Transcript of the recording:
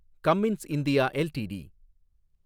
Cummins India LTD